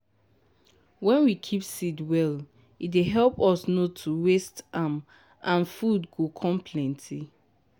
wen we keep seed well e dey help us nor to waste am and food go com plenty.